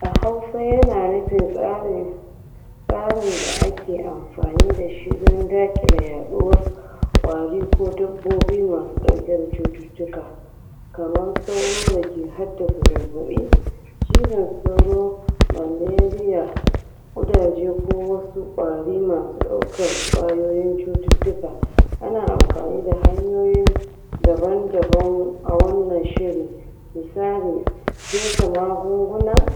a hausa yana nufin tsarin tsarin da aki anfani dashi da daƙile yaduwar ƙwari ko dabbobi masu dauke da cututuka kaman sauro dake haddasa zazzaɓi cizan sauro malaria ƙudaje ko wasu ƙwari masu daukar ƙwayoyin cututuka ana anfani da hanyoyin daban daban awannan shirin misali fesa magunguna